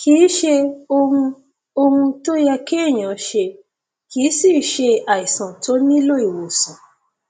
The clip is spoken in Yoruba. kìí ṣe ohun ohun tó yẹ kéèyàn ṣe kìí sìí ṣe àìsàn tó nílò ìwòsàn